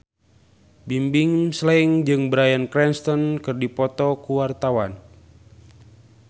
Bimbim Slank jeung Bryan Cranston keur dipoto ku wartawan